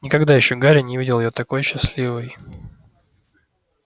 никогда ещё гарри не видел её такой счастливой